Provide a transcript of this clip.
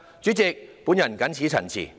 主席，我謹此陳辭。